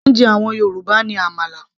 oúnjẹ àwọn Yorùbá ní àmàlà